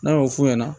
N'a y'o f'u ɲɛna